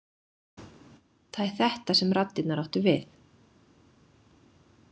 Það er þetta sem raddirnar áttu við.